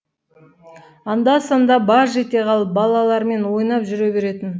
анда санда баж ете қалып балалармен ойнап жүре беретін